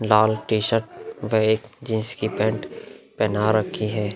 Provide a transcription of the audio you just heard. लाल t-shirt एक jeans की pant पहना रखी है।